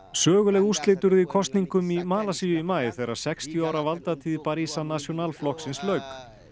söguleg úrslit urðu í kosningum í Malasíu í maí þegar sextíu ára valdatíð Barisan National flokksins lauk